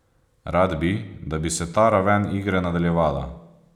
Rad bi, da bi se ta raven igre nadaljevala.